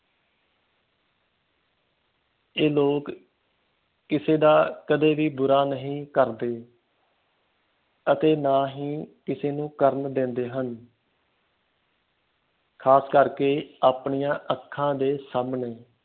ਇਹ ਲੋਕ ਕਿਸੇ ਦਾ ਕਦੇ ਵੀ ਬੁਰਾ ਨਹੀਂ ਕਰਦੇ ਅਤੇ ਨਾ ਹੀ ਕਿਸੇ ਨੂੰ ਕਰਨ ਦਿੰਦੇ ਹਨ ਖਾਸ ਕਰਕੇ ਆਪਣੀਆਂ ਅੱਖਾਂ ਦੇ ਸਾਮਣੇ